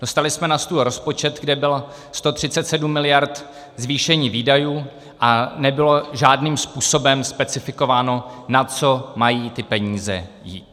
Dostali jsme na stůl rozpočet, kde bylo 137 miliard zvýšení výdajů, a nebylo žádným způsobem specifikováno, na co mají ty peníze jít.